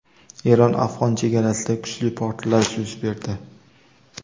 Eron-afg‘on chegarasida kuchli portlash yuz berdi.